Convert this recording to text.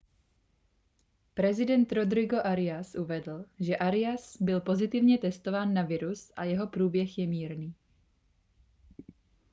prezident rodrigo arias uvedl že arias byl pozitivně testován na virus a jeho průběh je mírný